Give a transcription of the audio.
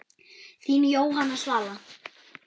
Þín Jóhanna Svala.